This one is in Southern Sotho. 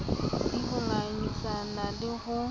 c ho ngangisana le ho